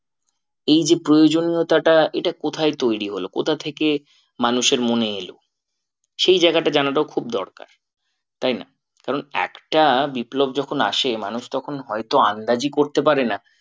এই যে প্রয়োজনীয়তাটা এটা কোথায় তৈরী হলো? কোথা থেকে মানুষের মনে এলো? সেই জায়গাটা জানাটাও খুব দরকার তাই না কারণ একটা বিপ্লব যখন আসে মানুষ তখন হয়তো আন্দাজই করতে পারে না।